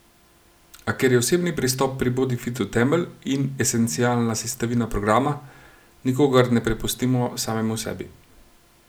A ker je osebni pristop pri Bodifitu temelj in esencialna sestavina programa, nikogar ne prepustimo samemu sebi.